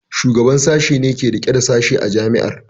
Shugaban Sashen ne ke rike da Sashe a Jami'ar.